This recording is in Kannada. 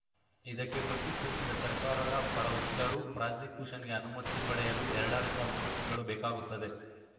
ಇದಕ್ಕೆ ಪ್ರತಿಕ್ರಿಯಿಸಿದ ಸರ್ಕಾರದ ಪರ ವಕೀಲರು ಪ್ರಾಸಿಕ್ಯೂಷನ್‌ಗೆ ಅನುಮತಿ ಪಡೆಯಲು ಎರಡ ರಿಂದ ಮೂರು ತಿಂಗಳು ಬೇಕಾಗುತ್ತದೆ